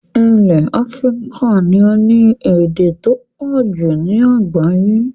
Ilẹ̀ Africa ni o ni èdè to pọ̀jù ni àgbáyẹ́